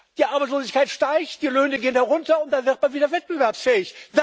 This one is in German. Löhne. Die Arbeitslosigkeit steigt, die Löhne gehen herunter, und dann wird man wieder wettbewerbsfähig.